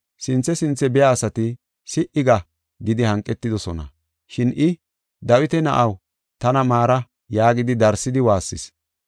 Sinthe sinthe biya asati, “Si7i ga” gidi hanqetidosona. Shin I, “Dawita na7aw, tana maara” yaagidi darsidi waassis.